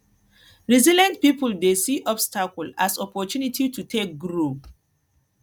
resilient pipo dey see obstacle as opportunity to take grow